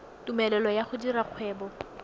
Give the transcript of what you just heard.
tumelelo ya go dira kgwebo